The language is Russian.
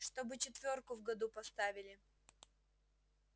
чтобы четвёрку в году поставили